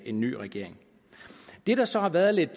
en ny regering det der så har været lidt